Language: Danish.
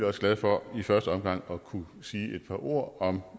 også glad for i første omgang at kunne sige et par ord om